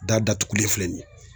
Da datugulen filɛ nin ye.